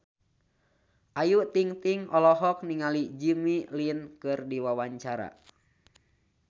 Ayu Ting-ting olohok ningali Jimmy Lin keur diwawancara